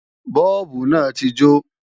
Bọ́ọ̀bù náà ti jó